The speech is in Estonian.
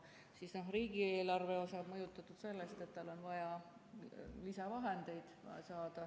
Siis riigieelarve osa on mõjutatud sellest, et on vaja saada lisavahendeid.